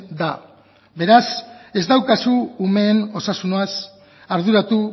da beraz ez daukazu umeen osasunaz arduratu